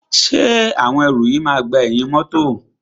Ṣé àwọn ẹrù yìí máa gba ẹ̀yìn mọ́tọ̀.